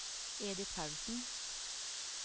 Edith Paulsen